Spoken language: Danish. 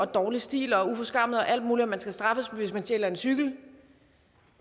dårlig stil og uforskammet og alt muligt man skal straffes hvis man stjæler en cykel